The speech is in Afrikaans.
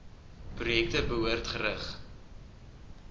projekte behoort gerig